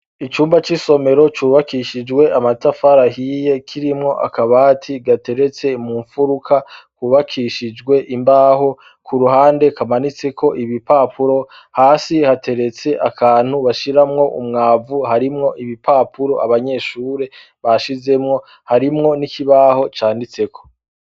Icumba c'isomero cubakishijwe amatafari ahiye, kirimwo akabati gateretse mumfuruka kubakishijwe imbaho, ku ruhande kamanitseko ibipapuro, hasi hateretse akantu bashiramwo umwavu harimwo ibipapuro abanyeshure bashizemwo, harimwo n'ikibaho canditseko.